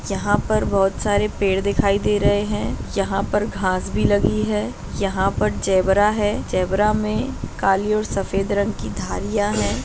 यहां पर बोहोत सारे पेड़ दिखाई दे रहे है यहां पर घास भी लगी है यहां पर जेबरा है जेबरा मे काली और सफेद रंग की धारिया है।